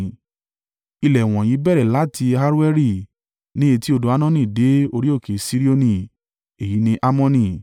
Ilẹ̀ wọ̀nyí bẹ̀rẹ̀ láti Aroeri ní etí odò Arnoni dé orí òkè Sirioni (èyí ni Hermoni).